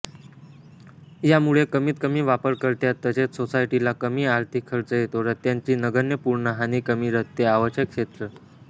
यामुळे कमीतकमी वापरकर्त्यास तसेच सोसायटीला कमी आर्थिक खर्च येतो रस्त्यांची नगण्यपूर्ण हानीकमी रस्ते आवश्यक क्षेत्र